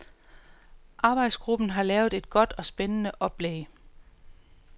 Arbejdsgruppen har lavet et godt og spændende oplæg.